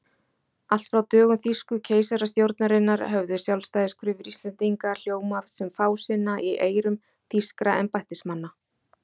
Allt frá dögum þýsku keisarastjórnarinnar höfðu sjálfstæðiskröfur Íslendinga hljómað sem fásinna í eyrum þýskra embættismanna.